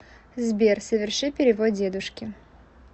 сбер соверши перевод дедушке